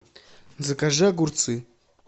закажи огурцы